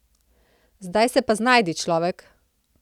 Zdaj se pa znajdi, človek.